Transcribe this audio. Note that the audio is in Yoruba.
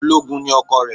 Ológun ni ọkọ rẹ̀